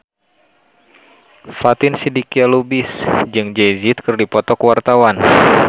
Fatin Shidqia Lubis jeung Jay Z keur dipoto ku wartawan